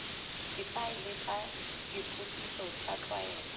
difaele tsa dipotsiso tsa tlwaelo